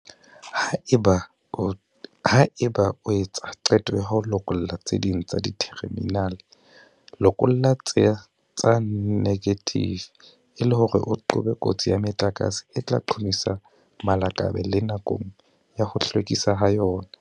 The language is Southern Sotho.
Haeba o etsa qeto ya ho lokolla tse ding tsa ditherminale, lokolla tsa negative e le hore o qobe kotsi ya metlakase e tla qhomisa malakabe le nakong ya ho hlwekiswa ha yona.